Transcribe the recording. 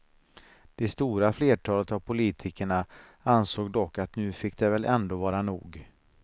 Det stora flertalet av politikerna ansåg dock att nu fick det väl ändå vara nog.